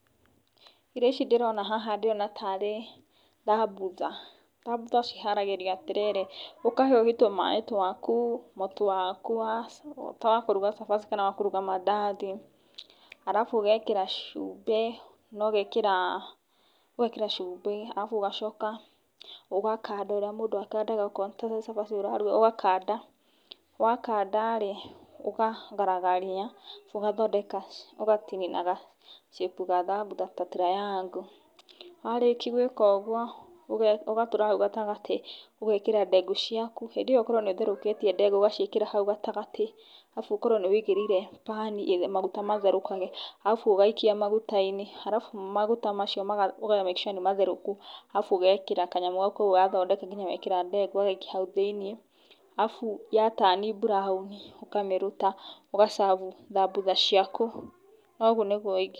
Irio ici ndĩrona haha ndĩrona tarĩ thambutha, thambutha ciharagĩrio atĩrĩrĩ, ũkahiũhia tũmaaĩ twaku, mũtu wakwa ta wa kũruga cabaci kana wakũruga mandathi, arabu ũgekĩra cubĩ arabu ũgacoka ũgakanda ũrĩa mũndũ akandaga okorwo nĩ ta cabaci ũraruga ũgakanda wakanda rĩ ũkagaragaria arabu ũgathondeka ũgatinia na ga shape ka thambutha ta triangle, warĩkĩa gwĩka ũguo ũgatũra hau gatagatĩ ũgekĩra ndegũ ciaku hĩndĩ ĩyo ũkorwo nĩ ũtherũkĩtie ndegũ ũgaciĩkĩra hau gatagatĩ arabu ũkorwo nĩ wĩigĩrĩire bani maguta matherũkage arabu ũgaikia magutainĩ arabu maguta macio ũka make sure nĩ matherũku arabu ũgekĩra kanyamũ gaka ũguo wathondeka nginya wekĩra ndegũ, ũgagaikia hau thĩiniĩ arabu yatani buraoni ũkamĩruta ũgacabu thambutha ciaku na ũguo nĩguo ingĩruga.